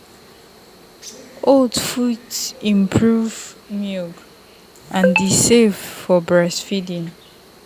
oats fit improve milk and e safe for breastfeeding.